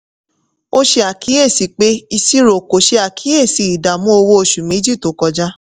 ó ṣe àkíyèsí pé ìṣirò kò ṣe àkíyèsí ìdààmú owó oṣù méjì tó kọjá.